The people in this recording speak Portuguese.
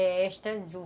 É esta azul.